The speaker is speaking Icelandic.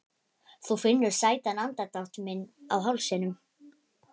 Þú finnur sætan andardrátt minn á hálsinum.